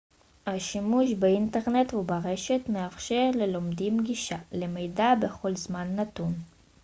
השימוש באינטרנט וברשת מאפשר ללומדים גישה למידע בכל זמן נתון